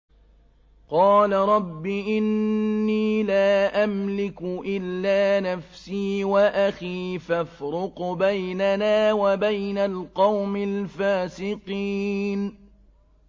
قَالَ رَبِّ إِنِّي لَا أَمْلِكُ إِلَّا نَفْسِي وَأَخِي ۖ فَافْرُقْ بَيْنَنَا وَبَيْنَ الْقَوْمِ الْفَاسِقِينَ